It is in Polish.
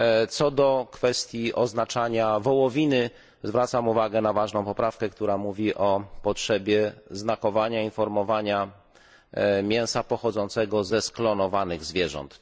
Co do kwestii oznaczania wołowiny, zwracam uwagę na ważną poprawkę, która mówi o potrzebie informowania i znakowania mięsa pochodzącego ze sklonowanych zwierząt.